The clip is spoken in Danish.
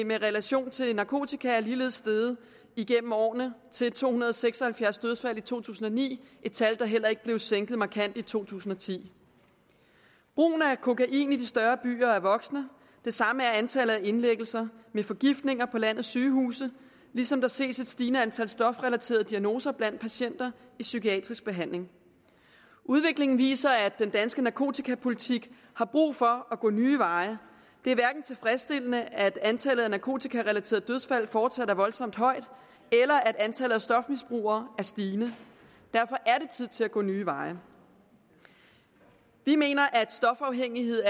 med relation til narkotika er ligeledes steget igennem årene til to hundrede og seks og halvfjerds dødsfald i to tusind og ni et tal der heller ikke blev sænket markant i to tusind og ti brugen af kokain i de større byer er vokset det samme er antallet af indlæggelser med forgiftninger på landets sygehuse ligesom der ses et stigende antal stofrelaterede diagnoser blandt patienter i psykiatrisk behandling udviklingen viser at den danske narkotikapolitik har brug for at gå nye veje det er hverken tilfredsstillende at antallet af narkotikarelaterede dødsfald fortsat er voldsomt højt eller at antallet af stofmisbrugere er stigende derfor er det tid til at gå nye veje vi mener at stofafhængighed